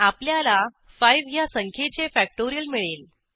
आपल्याला 5 ह्या संख्येचेfactorial मिळेल